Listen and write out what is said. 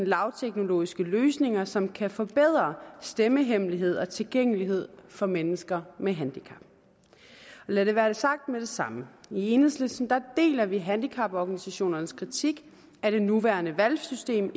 lavteknologiske løsninger som kan forbedre stemmehemmelighed og tilgængelighed for mennesker med handicap lad det være sagt med det samme i enhedslisten deler vi handicaporganisationernes kritik af det nuværende valgsystem